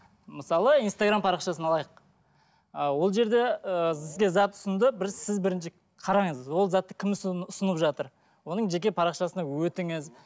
мысалы инстаграм парақшасын алайық ы ол жерде ыыы сізге зат ұсынды бір сіз бірінші қараңыз ол затты кім ұсынып жатыр оның жеке парақшасына өтіңіз